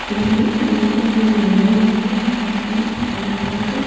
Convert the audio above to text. ये एक मोर है जिसने अपने पंख--